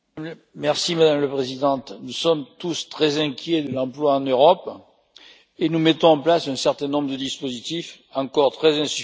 Madame la Présidente, nous sommes tous très inquiets de l'emploi en Europe et nous mettons en place un certain nombre de dispositifs encore très insuffisants.